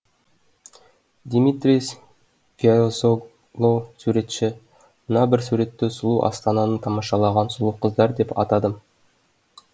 димитрис воязоглоу суретші мына бір суретті сұлу астананы тамашалаған сұлу қыздар деп атадым